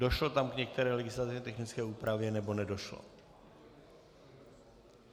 Došlo tam k některé legislativně technické úpravě, nebo nedošlo?